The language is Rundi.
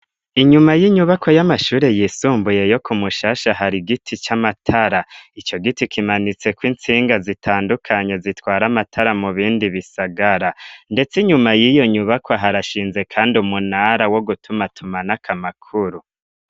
Inyuma y'inyubakwa y'amashure yisumbuye yo ku Mushasha hari giti c'amatara, ico giti kimanitseko intsinga zitandukanye zitwara amatara mu bindi bisagara ndetse inyuma y'iyo nyubakwa harashinze kandi umunara wo gutumatumanako amakuru.